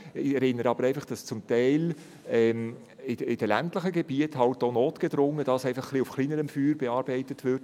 Aber ich erinnere einfach daran, dass dies in den ländlichen Gebieten zum Teil halt auch notgedrungen auf etwas kleinerem Feuer bearbeitet wird.